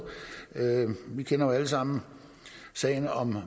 vi kender jo alle sammen sagen om